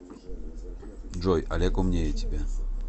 джой олег умнее тебя